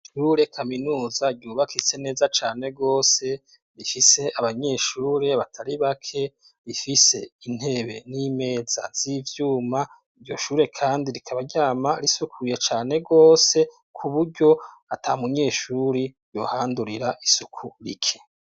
Ishure kaminuza ryubakitse neza cane gose, rifise abanyeshure batari bake, rifise intebe n'imeza z'ivyuma, iryo shure kandi rikaba ryama risukuye cane gose ku buryo ata munyeshure yohandurira isuku rike.